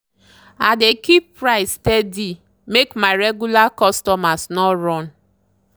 i dey keep price steady make my regular customers no run.